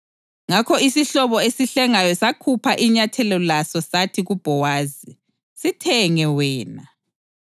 Ngakho isihlobo esihlengayo sakhupha inyathela laso sathi kuBhowazi, “Sithenge wena.”